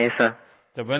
हाँ सिर